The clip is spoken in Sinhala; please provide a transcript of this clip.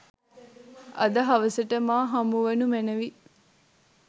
අද හවසට මා හමුවනු මැනවි